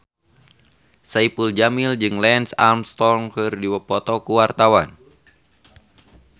Saipul Jamil jeung Lance Armstrong keur dipoto ku wartawan